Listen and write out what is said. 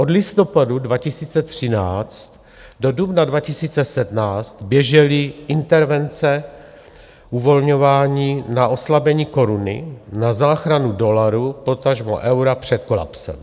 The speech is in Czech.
Od listopadu 2013 do dubna 2017 běžely intervence uvolňování na oslabení koruny, na záchranu dolaru, potažmo eura před kolapsem.